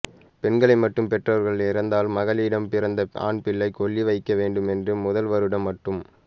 பெண்களை மட்டும் பெற்றவர்கள் இறந்தால் மகளிடம் பிறந்த ஆண்பிள்ளை கொல்லி வைக்க வேண்டும் என்றும் முதல் வருடம் மட்டும்